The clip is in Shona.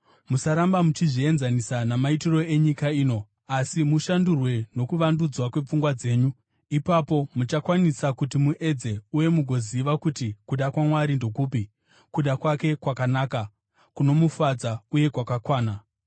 Musaramba muchizvienzanisa namaitiro enyika ino, asi mushandurwe nokuvandudzwa kwepfungwa dzenyu. Ipapo muchakwanisa kuti muedze uye mugoziva kuti kuda kwaMwari ndokupi, kuda kwake kwakanaka, kunomufadza uye kwakakwana.